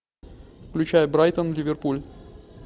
включай брайтон ливерпуль